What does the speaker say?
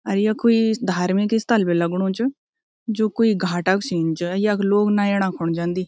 अर यु कुई धार्मिक स्थल भी लगणु च जू कुई घाट क सीन च यख लोग नयेणा खुन जन्दी।